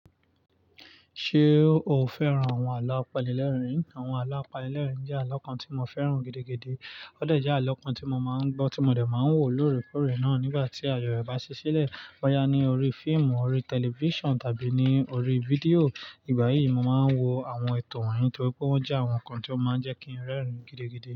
Ṣé o fẹ́ràn àwọn àlọ́ apanil'ẹ̀rín? Àwọn àlọ́ apanil'ẹ̀rín jẹ́ àlọ́ kan tí mo fẹ́ràn gidi, ó dẹ̀ jẹ́ àlọ́ kan tí mo máa ń gbọ́, tí mo dẹ̀ máa ń wò lóòrèkóòrè náà nígbà tí àyò ẹ̀ bá ṣí sílẹ̀. Bóyá ní orí fíìmù, orí tẹlifíṣàn tàbí ní orí fídíò. Igbà yíì, mo máa ń wo àwọn ètò wọ̀nyí torí pé wọ́n jẹ́ àwọn nǹkan tí ó máa ń jẹ́ kí n rẹ́rìn-ín gidigidi.